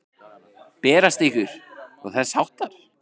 Berast ykkur. og þess háttar?